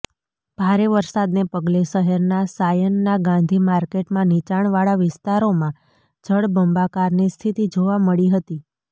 ભારે વરસાદને પગલે શહેરના સાયનના ગાંધી માર્કટમાં નિચાણવાળા વિસ્તારોમાં જળબંબાકારની સ્થિતિ જોવા મળી હતી